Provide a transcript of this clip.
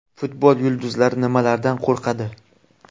Futbol yulduzlari nimalardan qo‘rqadi?